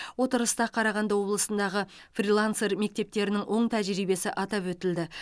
отырыста қарағанды облысындағы фрилансер мектептерінің оң тәжірибесі атап өтілді